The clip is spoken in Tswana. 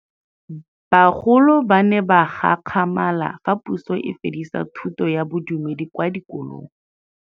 Bagolo ba ne ba gakgamala fa Pusô e fedisa thutô ya Bodumedi kwa dikolong.